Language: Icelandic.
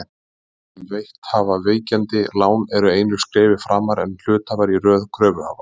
Þeir sem veitt hafa víkjandi lán eru einu skrefi framar en hluthafar í röð kröfuhafa.